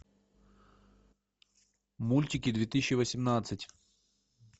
мультики две тысячи восемнадцать